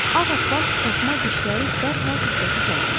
Ağappaq taxma dişləri dərhal diqqəti cəlb eləyirdi.